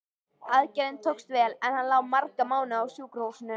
Aðgerðin tókst vel, en hann lá marga mánuði á sjúkrahúsinu.